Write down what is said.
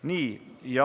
Nii.